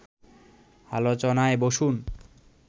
আলোচনায় বসুন